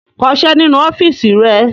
Kọṣẹ́ nínú ọ́fíísì rẹ!